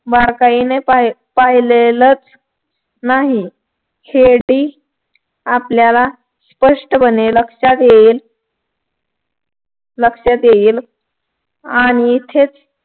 बारकाईने पाहिलं पाहिलेलंच नाही हेही आपल्याला स्पष्टपणे लक्षात येईल लक्षात येईल आणि इथेच